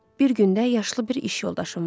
Bir gündə yaşlı bir iş yoldaşım vardı.